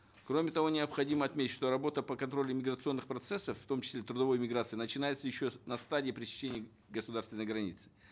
кроме того необходимо отметить что работа по контролю миграционных процессов в том числе трудовой миграции начинается еще на стадии пересечения государственной границы